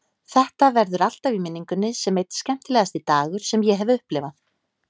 Þetta verður alltaf í minningunni sem einn skemmtilegasti dagur sem ég hef upplifað.